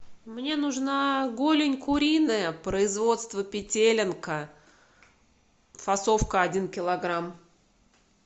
мне нужна голень куриная производство петелинка фасовка один килограмм